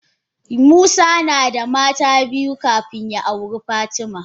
Musa nada mata biyu kafin ya auri fatima.